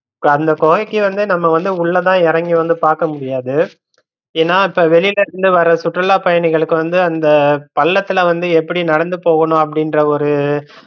அந்த கொகைக்கு வந்து நம்ம வந்து உள்ளதான் எறங்கி வந்து பாக்க முடியாது, ஏன்னா இப்ப வெளிலருந்து வர்ற சுற்றுலா பயணிகளுக்கு வந்து அந்த பள்ளத்துல வந்து எப்படி நடந்து போகனு அப்படின்ற ஒரு